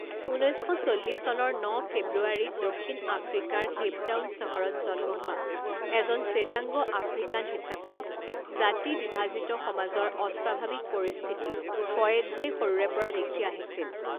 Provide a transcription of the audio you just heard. ঊনৈছ শ চল্লিছ চনৰ ন ফেব্ৰুৱাৰীত দক্ষিণ আফ্ৰিকাৰ কেইপটাউন চহৰত জন্ম হোৱা এজন শ্বেতাংগ আফ্ৰিকান হিচাপে জাতি বিভাজিত সমাজৰ অস্বাভাৱিক পৰিস্থিতি কয়েৎজেই সৰুৰে পৰা দেখি আহিছিল।